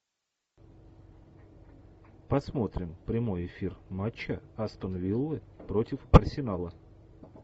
посмотрим прямой эфир матча астон вилла против арсенала